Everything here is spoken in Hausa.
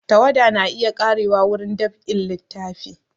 Tawada na iya ƙarewa wurin dab'in littafi